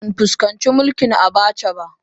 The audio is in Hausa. Ban fuskanci mulkin Abacha ba